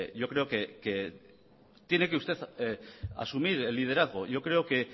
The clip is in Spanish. yo creo que tiene que usted asumir el liderazgo yo creo que